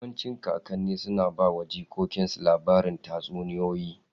Yawancin kakanni suna ba wa jikokinsu labarin tatsuniyoyi.